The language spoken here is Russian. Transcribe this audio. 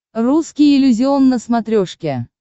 русский иллюзион на смотрешке